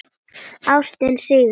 Ástin sigrar.